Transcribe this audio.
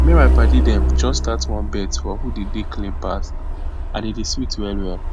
me and my padi dem just start one bet for who dey dey clean pass and e dey sweet well well